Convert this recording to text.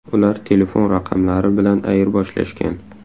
Ular telefon raqamlari bilan ayirboshlashgan.